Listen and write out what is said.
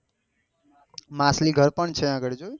માછલી ઘર પણ છે ત્યાં આગળી જોયું યમે